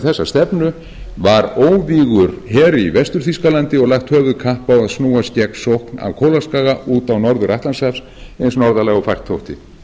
þessa stefnu var óvígur her í vestur þýskalandi og lagt höfuðkapp á að snúast gegn sókn af kólaskaga út á norður atlantshaf eins norðarlega og fært þótti